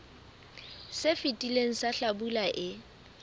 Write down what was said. se fetileng sa hlabula e